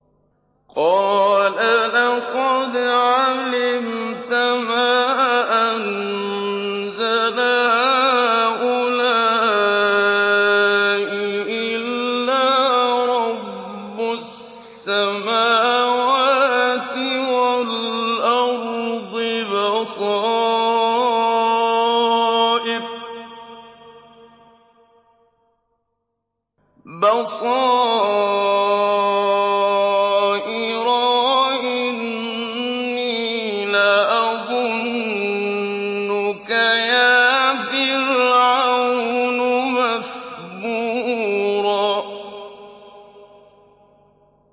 قَالَ لَقَدْ عَلِمْتَ مَا أَنزَلَ هَٰؤُلَاءِ إِلَّا رَبُّ السَّمَاوَاتِ وَالْأَرْضِ بَصَائِرَ وَإِنِّي لَأَظُنُّكَ يَا فِرْعَوْنُ مَثْبُورًا